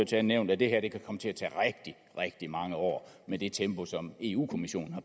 tale nævnt at det her kan komme til at tage rigtig rigtig mange år med det tempo som eu kommissionen